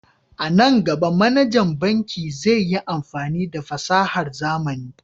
A nan gaba, manajan bankin zai yi amfani da fasahar zamani.